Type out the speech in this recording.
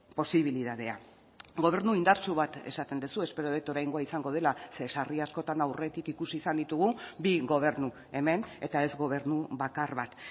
posibilitatea gobernu indartsu bat esaten duzu espero dut oraingoa izango dela ze sarri askotan aurretik ikusi izan ditugu bi gobernu hemen eta ez gobernu bakar bat